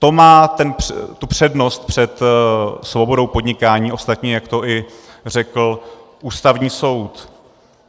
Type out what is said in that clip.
To má tu přednost před svobodou podnikání, ostatně jak to i řekl Ústavní soud.